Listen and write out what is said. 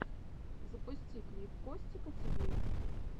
запусти клип костика тиви